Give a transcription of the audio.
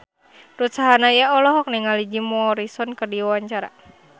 Ruth Sahanaya olohok ningali Jim Morrison keur diwawancara